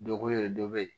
Dɔ ko yɛrɛ dɔ be yen